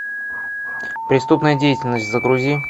преступная деятельность загрузи